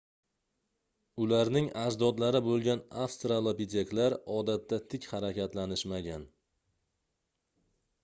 ularning ajdodlari boʻlgan avstralopiteklar odatda tik harakatlanishmagan